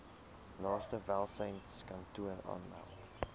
naaste welsynskantoor aanmeld